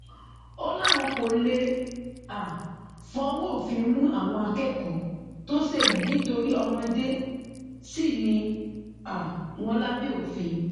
ó láwọn kó lè um fọwọ òfin mú àwọn akẹkọọ tó ṣe yìí nítorí ọmọdé sì ni um wọn lábẹ òfin